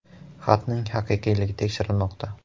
Xatning haqiqiyligi tekshirilmoqda.